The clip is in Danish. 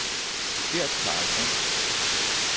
Gert Carlsson